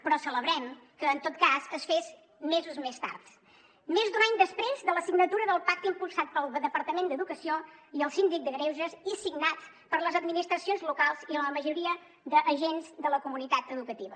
però celebrem que en tot cas es fes mesos més tard més d’un any després de la signatura del pacte impulsat pel departament d’educació i el síndic de greuges i signat per les administracions locals i la majoria d’agents de la comunitat educativa